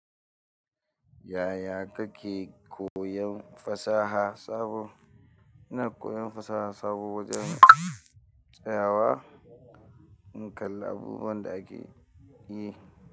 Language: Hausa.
Yaya kake koyon fasaha sabo? Ina koyon fasaha sabo tsayawa in kalla abubuwan da ake yi.